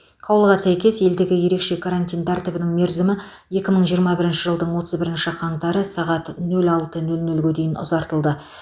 қаулыға сәйкес елдегі ерекше карантин тәртібінің мерзімі екі мың жиырма бірінші жылдың отыз бірінші қаңтары сағат нөл алты нөл нөлге дейін ұзартылды